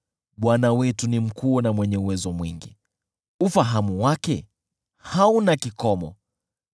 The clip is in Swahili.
Bwana wetu ni mkuu na mwenye uwezo mwingi, ufahamu wake hauna kikomo.